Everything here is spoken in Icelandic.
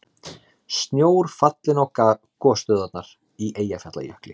Snjór fallinn á gosstöðvarnar í Eyjafjallajökli